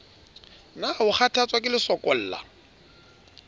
na o kgathatswa ke lesokolla